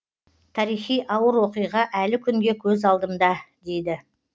тарихи ауыр оқиға әлі күнге көз алдымда дейді